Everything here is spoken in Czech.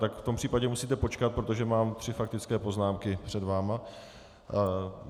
Tak v tom případě musíte počkat, protože mám tři faktické poznámky před vámi.